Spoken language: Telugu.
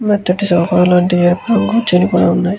మెత్తటి సోఫా లాంటి ఎరుపు రంగు చినిగిపోయి ఉంది.